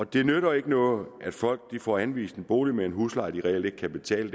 det nytter ikke noget at folk får anvist en bolig med en husleje de reelt ikke kan betale